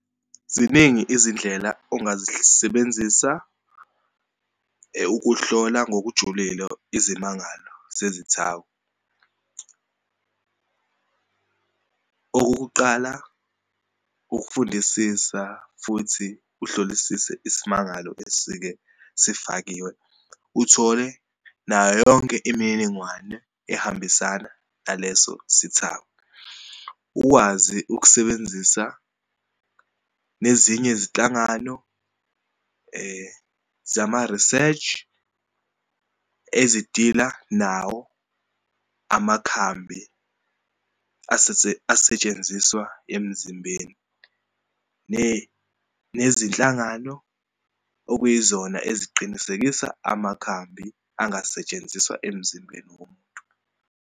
Ziningi izindlela zisebenzisa ukuhlola ngokujulile izimangalo zezithako. Okokuqala, ukufundisisa futhi uhlolisise isimangalo esike sefakiwe, uthole nayo yonke imininingwane ehambisana naleso sithako. Ukwazi ukusebenzisa nezinye izinhlangano zamariseshi ezidila nawo amakhambi asetshenziswa emzimbeni, nezinhlangano okuyizona eziqinisekisa amakhambi angasetshenziswa emzimbeni womuntu.